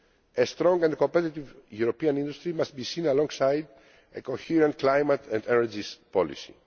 A strong and competitive European industry must be seen alongside a coherent climate and energy policy.